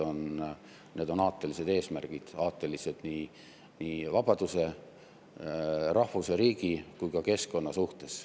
Need on aatelised eesmärgid – aatelised nii vabaduse, rahvuse, riigi kui ka keskkonna suhtes.